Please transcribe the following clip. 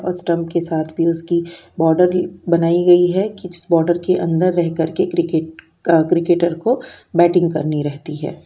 और स्टंप के साथ भी उसकी बॉर्डर बनाई गई है कि इस बॉर्डर के अन्दर रह कर के क्रिकेट अ क्रिक्केटर को बैटिंग करनी रहती है।